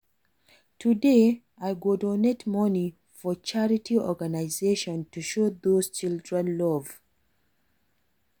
Today, I go donate monie for charity organization to show those children love.